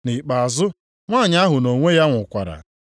Nʼikpeazụ nwanyị ahụ nʼonwe ya nwụkwara.